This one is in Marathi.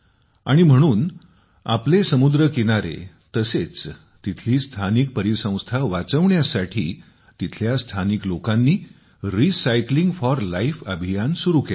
आणि म्हणून आपला समुद्र किनारे तसेच तिथली स्थानिक परिसंस्था वाचविण्यासाठी तिथल्या स्थानिक लोकांनी रिसायक्लिंग फॉर लाईफ अभियान सुरु केले आहे